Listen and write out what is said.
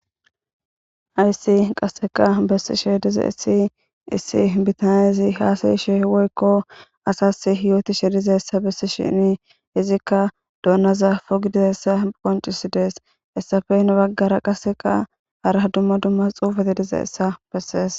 hayssi qasseka bessishe dizayissi issi bitan izi haasayishe woykko asas hiyooti shirizayssa bessishini izikka donaza pogi dizayissa qoncisidi hessafe hena baggara qaseqa har dumma dumma xuufate dizayissa bessees